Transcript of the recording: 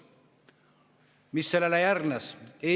Mis sellele järgnes?